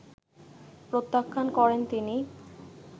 প্রত্যাখ্যান করেন তিনি